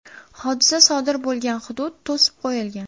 Hodisa sodir bo‘lgan hudud to‘sib qo‘yilgan.